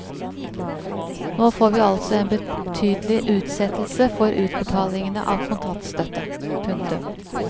Nå får vi altså en betydelig utsettelse for utbetalingene av kontantstøtte. punktum